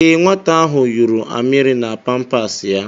Ee, Nwata ahụ yụrụ amịrị na pampas ya.